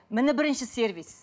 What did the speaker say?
міне бірінші сервис